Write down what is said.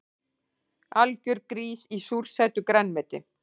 Algjör grís í súrsætu grænmeti